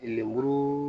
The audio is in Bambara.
Lemuru